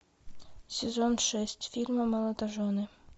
сезон шесть фильма молодожены